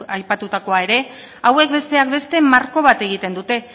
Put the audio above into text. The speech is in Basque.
aipatutakoa ere hauek besteak beste marko bat egiten dute